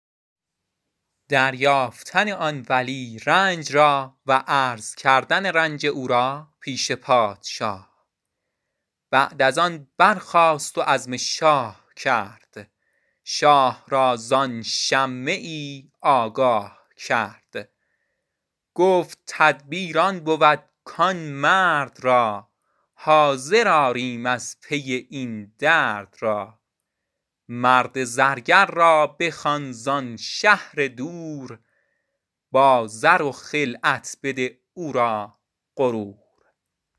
بعد از آن برخاست و عزم شاه کرد شاه را زان شمه ای آگاه کرد گفت تدبیر آن بود کان مرد را حاضر آریم از پی این درد را مرد زرگر را بخوان زان شهر دور با زر و خلعت بده او را غرور